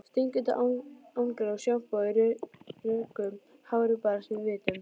Stingandi angan af sjampói í röku hári barst að vitum